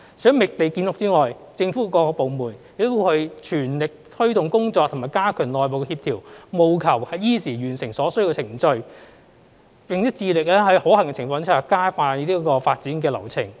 除覓地建屋之外，政府各部門亦全力推動工作及加強內部協調，務求依時完成所需的程序，並且致力在可行的情況之下，加快發展流程。